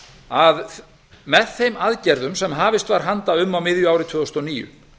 að með þeim aðgerðum sem hafist var handa um á miðju ári tvö þúsund og níu